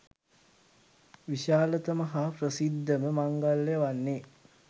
විශාලතම හා ප්‍රසිද්ධම මංගල්‍යය වන්නේ